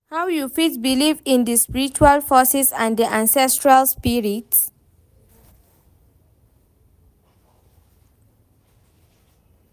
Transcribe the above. How you fit believe in di spiritual forces and di ancestral spirits?